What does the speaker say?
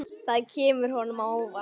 Það kemur honum á óvart.